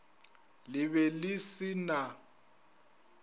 le be le se na